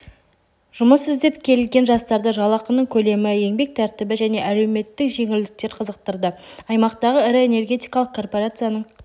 жұмыс іздеп келген жастарды жалақының көлемі еңбек тәртібі және әлеуметтік жеңілдіктер қызықтырды аймақтағы ірі энергетикалық корпорацияның